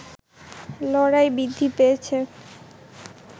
লড়াই বৃদ্ধি পেয়েছে